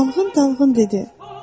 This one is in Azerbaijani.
Dalğın-dalğın dedi: